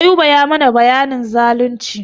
Ayuba ya mana bayanin zalunci.